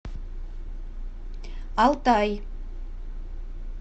алтай